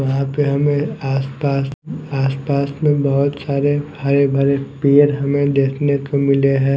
वहां पे हमें आस पास आस पास में बहुत सारे हरे भरे पेड़ हमें देखने को मिले हैं।